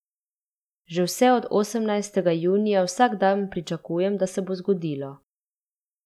Že vse od osemnajstega junija vsak dan pričakujem, da se bo zgodilo.